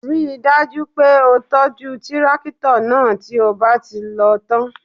Ríi dájú pé o tọ́jú tírákítọ̀ náà tí ó bá ti lò ó tán